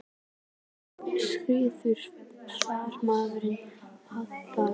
Sá strákur varð manni að bana.